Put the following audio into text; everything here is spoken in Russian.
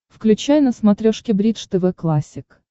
включай на смотрешке бридж тв классик